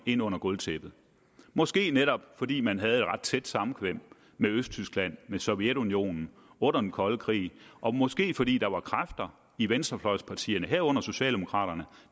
ind under gulvtæppet måske netop fordi man havde et ret tæt samkvem med østtyskland med sovjetunionen under den kolde krig og måske fordi der var kræfter i venstrefløjspartierne herunder socialdemokraterne